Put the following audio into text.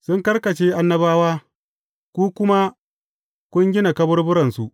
Sun karkashe annabawa, ku kuma kun gina kaburburansu.